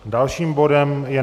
Dalším bodem je